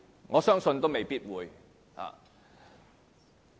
我相信也未必會。